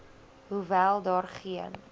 hoewel daar geen